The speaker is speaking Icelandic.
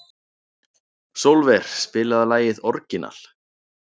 Sólver, spilaðu lagið „Orginal“.